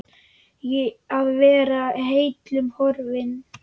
Að vera heillum horfin